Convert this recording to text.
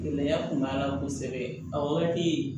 Gɛlɛya kun b'a la kosɛbɛ a wagati